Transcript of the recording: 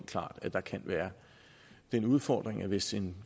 klart at der kan være den udfordring at hvis en